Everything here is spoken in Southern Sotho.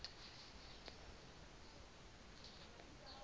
dineo